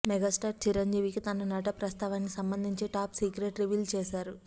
megastar Chiranjeevi తన నట ప్రస్థానానికి సంబందించిన టాప్ సీక్రెట్ రివీల్ చేశారు